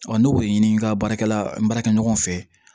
ne b'o de ɲini n ka baarakɛla n baarakɛ ɲɔgɔn fɛ